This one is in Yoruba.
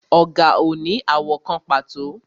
Ọ̀gà ò ní àwọ̀ kan pàtó